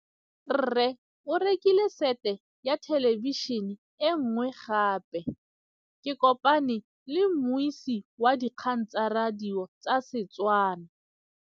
Rre o rekile sete ya thêlêbišênê e nngwe gape. Ke kopane mmuisi w dikgang tsa radio tsa Setswana.